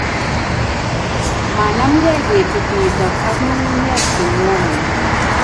manmegei kitit nitok ak ng'ung'unyek che ng'woneen